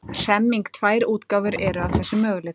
Hremming Tvær útgáfur eru af þessum möguleika.